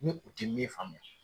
Ni u ti min faamuya